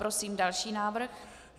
Prosím další návrh.